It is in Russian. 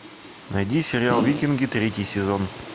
найди сериал викинги третий сезон